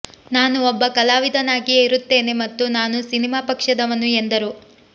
ನಾನು ಒಬ್ಬ ಕಲಾವಿದನಾಗಿಯೇ ಇರುತ್ತೇನೆ ಮತ್ತು ನಾನು ಸಿನಿಮಾ ಪಕ್ಷದವನು ಎಂದರು